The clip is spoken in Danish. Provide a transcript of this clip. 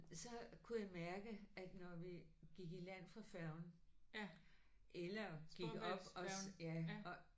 Så kunne jeg mærke at når vi gik i land fra færgen eller gik op og ja og